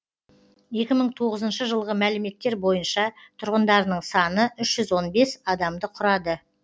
екі мың тоғызынщы жылғы мәліметтер бойынша тұрғындарының саны үш жүз он бес адамды құрады